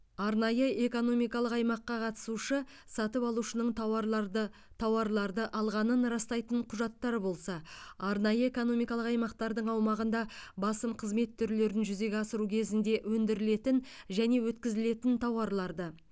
арнайы экономикалық аймаққа қатысушы сатып алушының тауарларды тауарларды алғанын растайтын құжаттар болса арнайы экономикалық аймақтардың аумағында басым қызмет түрлерін жүзеге асыру кезінде өндірілетін және өткізілетін тауарларды